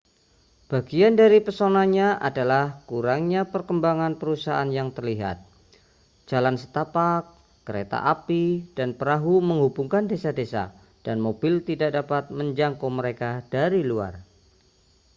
bagian dari pesonanya adalah kurangnya perkembangan perusahaan yang terlihat jalan setapak kereta api dan perahu menghubungkan desa-desa dan mobil tidak dapat menjangkau mereka dari luar